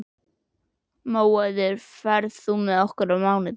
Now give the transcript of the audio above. Móeiður, ferð þú með okkur á mánudaginn?